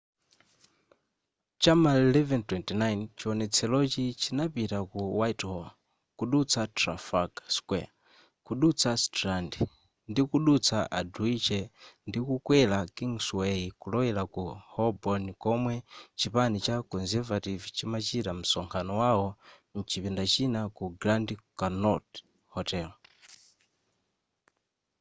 cha m'ma 11:29 chiwonetserochi chinapita ku whitehall kudutsa trafalgar square kudutsa strand ndikudutsa aldwych ndikukwera kingsway kulowera ku holborn komwe chipani cha conservative chimachita msonkhano wao mchipinda china ku grand connaught hotel